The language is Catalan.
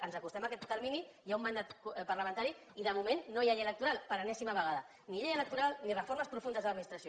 ens acostem a aquest termini hi ha un mandat parlamentari i de moment no hi ha llei electoral per enèsima vegada ni llei electoral ni reformes profundes a l’administració